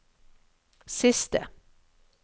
siste